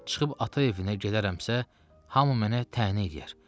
Çıxıb ata evinə gələrəmsə, hamı mənə təhəneyləyər.